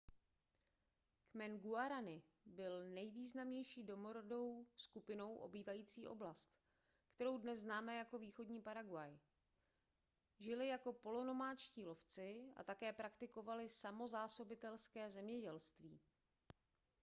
kmen guarani byl nejvýznamnější domorodou skupinou obývající oblast kterou dnes známe jako východní paraguay žili jako polonomádští lovci a také praktikovali samozásobitelské zemědělství